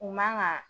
U man ka